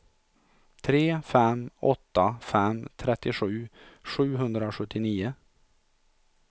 tre fem åtta fem trettiosju sjuhundrasjuttionio